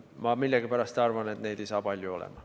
Ma millegipärast arvan, et neid ei saa palju olema.